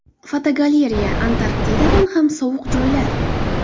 Fotogalereya: Antarktidadan ham sovuq joylar.